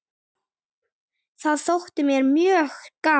Það þótti mér mjög gaman.